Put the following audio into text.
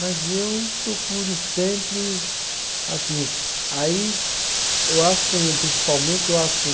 Mas eu procuro sempre, assim, aí eu acho com principalmente eu acho com